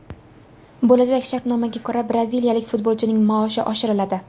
Bo‘lajak shartnomaga ko‘ra, braziliyalik futbolchining maoshi oshiriladi.